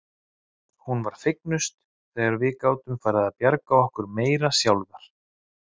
Hún var fegnust þegar við gátum farið að bjarga okkur meira sjálfar.